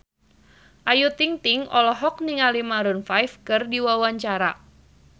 Ayu Ting-ting olohok ningali Maroon 5 keur diwawancara